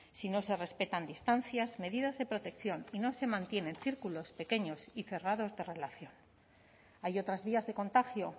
si no se respetan distancias medidas de protección y no se mantienen círculos pequeños y cerrados de relación hay otras vías de contagio